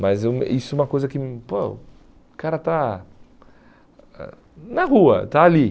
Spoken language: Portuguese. Mas eu isso é uma coisa que hum, pô, o cara está ãh na rua, está ali.